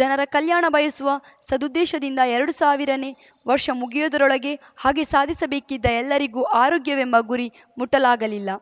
ಜನರ ಕಲ್ಯಾಣ ಬಯಸುವ ಸದುದ್ದೇಶದಿಂದ ಎರಡು ಸಾವಿರನೇ ವರ್ಷ ಮುಗಿಯುವುದರೊಳ ಹಗೆ ಸಾಧಿಸಬೇಕಿದ್ದ ಎಲ್ಲರಿಗೂ ಆರೋಗ್ಯವೆಂಬ ಗುರಿ ಮುಟ್ಟಲಾಗಿಲ್ಲ